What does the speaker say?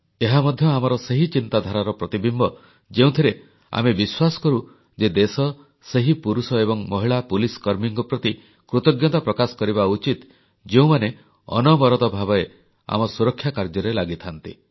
ଏହା ମଧ୍ୟ ଆମର ସେହି ଚିନ୍ତାଧାରାର ପ୍ରତିବିମ୍ବ ଯେଉଁଥିରେ ଆମେ ବିଶ୍ୱାସ କରୁ ଯେ ଦେଶ ସେହି ପୁରୁଷ ଏବଂ ମହିଳା ପୁଲିସକର୍ମୀଙ୍କ ପ୍ରତି କୃତଜ୍ଞତା ପ୍ରକାଶ କରିବା ଉଚିତ ଯେଉଁମାନେ ଅନବରତ ଭାବେ ଆମ ସୁରକ୍ଷା କାର୍ଯ୍ୟରେ ଲାଗିଥାନ୍ତି